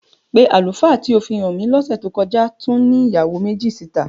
Pé àlùfáà tí ó fi hàn mí lọ́sẹ̀ tó kọ́já tún ní ìyàwó méjì síta?